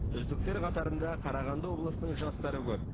үздіктер қатарында қарағанды облысының жастары көп